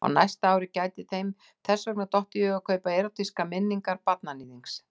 Á næsta ári gæti þeim þess vegna dottið í hug að kaupa Erótískar minningar barnaníðings.